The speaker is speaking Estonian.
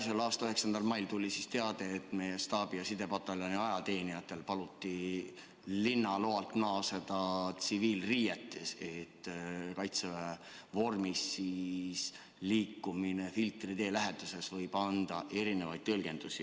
Selle aasta 9. mail tuli teade, et meie staabi- ja sidepataljoni ajateenijatel paluti linnaloa lõppedes naasta väeossa tsiviilriietes, sest Kaitseväe vormis liikumine Filtri tee läheduses võimaldab mitmesuguseid tõlgendusi.